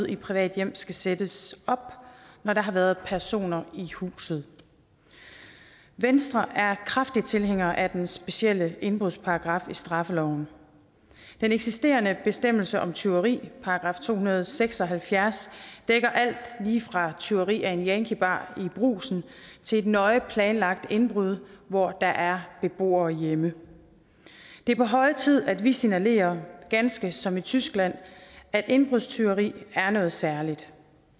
i private hjem skal sættes op når der har været personer i huset venstre er kraftig tilhænger af den specielle indbrudsparagraf i straffeloven den eksisterende bestemmelse om tyveri § to hundrede og seks og halvfjerds dækker alt lige fra tyveri af en yankiebar i brugsen til et nøje planlagt indbrud hvor der er beboere hjemme det er på høje tid at vi signalerer ganske som i tyskland at indbrudstyveri er noget særligt